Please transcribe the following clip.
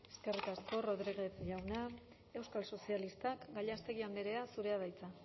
eskerrik asko rodríguez jauna euskal sozialistak gallástegui andrea zurea da hitza